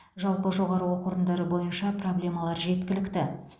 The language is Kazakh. жалпы жоғары оқу орындары бойынша проблемалар жеткілікті